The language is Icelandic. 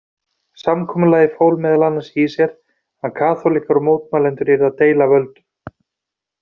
Samkomulagið fól meðal annars í sér að kaþólikkar og mótmælendur yrðu að deila völdum.